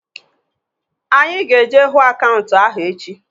Anyị ga-eje hụ akaụntanti ahu echi